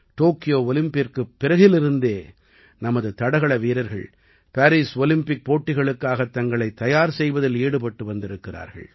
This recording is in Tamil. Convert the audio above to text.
டோக்கியோ ஒலிம்பிக்கிற்குப் பிறகிலிருந்தே நமது தடகள வீரர்கள் பாரீஸ் ஒலிம்பிக் போட்டிகளுக்காகத் தங்களைத் தயார் செய்வதில் ஈடுபட்டு வந்திருக்கிறார்கள்